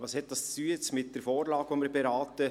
Was hat dies nun mit der Vorlage zu tun, die wir beraten?